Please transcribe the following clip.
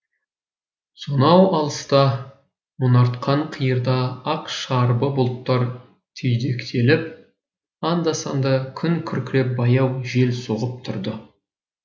сонау алыста мұнартқан қиырда ақ шарбы бұлттар түйдектеліп анда санда күн күркіреп баяу жел соғып тұрды